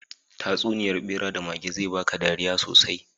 Tatsuniyar ɓera da mage zai baka dariya sosai.